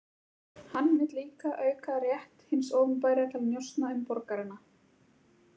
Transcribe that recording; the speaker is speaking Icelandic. Hann vill líka auka rétt hins opinbera til að njósna um borgarana.